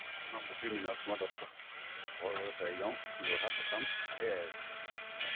মোৰ নামটো শ্ৰীমৃণাল কুমাৰ দত্ত ঘৰ এই যোৰহাট assam সেয়ে আৰু